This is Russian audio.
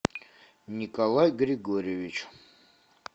николай григорьевич